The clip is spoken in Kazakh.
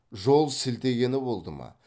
жол сілтегені болды ма